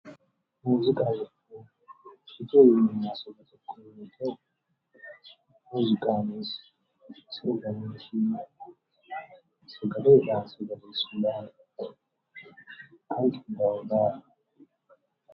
Muuziqaa jechuun kan bifa sagaleetiin qindaa'ee sammuu namaa bashannansiisu akkasumas dandeettii keessa namaa jiru bifa sagalee fi yeedaloowwan fayyadamuudhaan baasanii uummataaf dhiyeessuudha.